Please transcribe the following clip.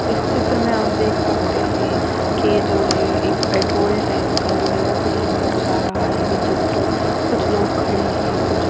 इस चित्र में आप देख सकते हैं कि जो है एक पेट्रोल टैंक का जो है वो शीन दर्शा रहा है ये चित्र कुछ लोग खड़े हैं कुछ--